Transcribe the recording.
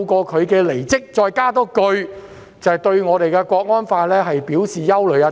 她離職後補上一句話，指對《香港國安法》表示憂慮。